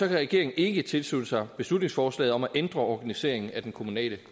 regeringen ikke tilslutte sig beslutningsforslaget om at ændre organiseringen af den kommunale